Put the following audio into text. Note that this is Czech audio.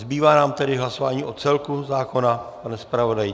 Zbývá nám tedy hlasování o celku zákona, pane zpravodaji?